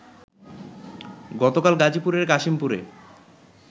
গতকাল গাজীপুরের কাশিমপুরে